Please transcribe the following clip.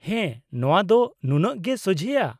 -ᱦᱮᱸ, ᱱᱚᱶᱟ ᱫᱚ ᱱᱩᱱᱟᱹᱜ ᱜᱮ ᱥᱳᱡᱷᱮᱭᱟ ᱾